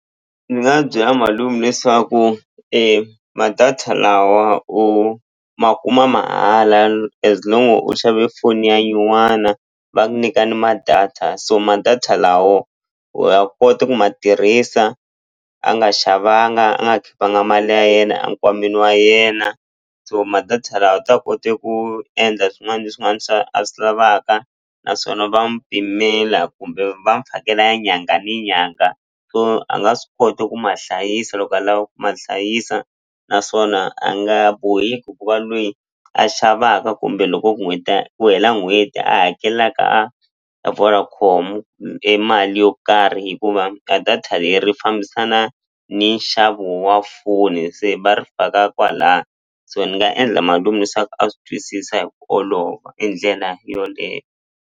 Ni nga byela malume leswaku ma-data lawa u ma kuma mahala as long u xave foni ya nyuwana va ku nyika ni ma-data so ma-data lawo u ya kota ku ma tirhisa a nga xavanga a nga khipanga mali ya yena a nkwameni wa yena so ma data lawa u ta kote ku endla swin'wana ni swin'wana swa a swi lavaka naswona va mu pimela kumbe va mu fakela ya nyanga ni nyanga so a nga swi kota ku ma hlayisa loko a lava ku ma hlayisa naswona a nga boheki ku va lweyi a xavaka kumbe loko ku hela n'hweti a hakelaka a a Vodacom mali yo karhi hikuva a data leri fambisana ni nxavo wa foni se va ri faka kwala so ni nga endla malume a swi twisisa hi ku olova i ndlela yoleye.